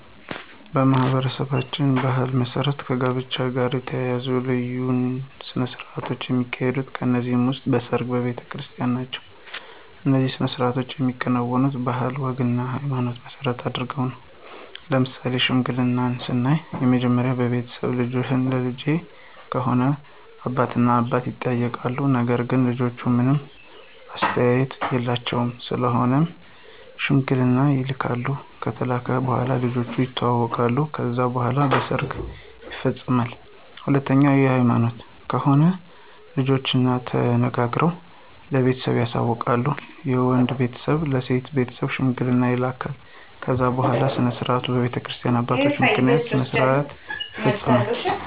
በማኅበረሰባችን ባሕል መሠረት ከጋብቻ ጋር የተያያዙ የተለያዩ ሥነ ሥርዓቶች ይካሄዳሉ ከነዚህም ውስጥ በሰርግ፣ በቤተክርስቲን ናቸው። እነዚህ ሥነ ሥርዓቶች የሚከናወኑት ባህልና ወግንና ሀይማኖትን መሰረት አድርገው ነው። ለምሳሌ ሽምግልናን ስናይ መጀመሪያ በቤተሰብ ልጅህን ለልጀ ከሆነ አባት እና አባት ይጠያይቃሉ ነገር ግን ልጆች ምንም አስተዋፆ የላቸውም ስለሆነም ሽማግሌ ይላካል ከተላከ በኋላ ልጆቹ የተዋወቃሉ ከዛ በኋላ በሰርግ ይፈፀማል። ሁለተኛው በሀይማኖት ከሆነ ልጆችና ተነጋግረው ለቤተሰብ ያስተዋውቃሉ የወንዱ ቤተሰብ ለሴት ቤተሰብ ሽማግሌ ይላካል ከዛ በኋላ ስነስርዓቱ በቤተክርስቲያ አባቶች ምክንያት ስነስርዓቱ ይፈፀማል።